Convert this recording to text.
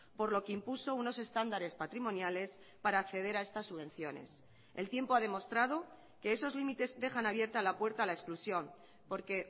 por lo que impuso unos estándares patrimoniales para acceder a estas subvenciones el tiempo ha demostrado que esos límites dejan abierta la puerta a la exclusión porque